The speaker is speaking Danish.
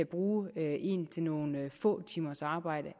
bruge en til nogle få timers arbejde